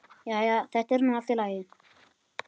Jæja, þetta er nú allt í lagi.